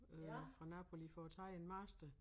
Øh fra Napoli for at tage en master